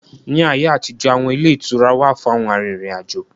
Ní ayé àtijó, awọn ilé ìtura wà fún àwọn arìnrìn-àjò